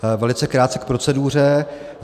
Velice krátce k proceduře.